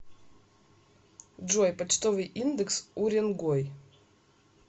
джой почтовый индекс уренгой